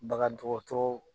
Bagan dɔgɔtɔrɔ